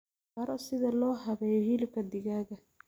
Baro sida loo habeeyo hilibka digaaga.